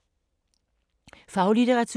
Faglitteratur